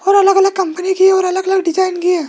और अलग अलग कंपनी की और अलग अलग डिजाइन की है।